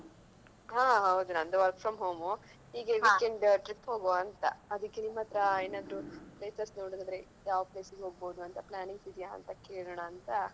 ಹಾ ಹೌದು ನಂದು work from home ಹೀಗೆ weekend trip ಹೋಗುವಂತಾ, ಅದಕ್ಕೆ ನಿಮ್ಮತ್ರ ಏನಾದ್ರು places ನೋಡಿದ್ರೆ ಯಾವ place ಗೆ ಹೋಗ್ಬೋದು ಅಂತ plannings ಇದೆಯಾ ಅಂತ ಕೇಳೋಣಾಂತ.